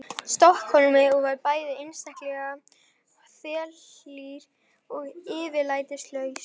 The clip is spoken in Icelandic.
Stokkhólmi og var bæði einstaklega þelhlýr og yfirlætislaus.